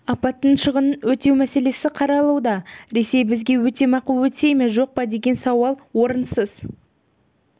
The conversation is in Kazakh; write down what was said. апаттың шығынын өтеу мәселесі қаралуда ресей бізге өтемақы өтей ме жоқ па деген сауал орынсыз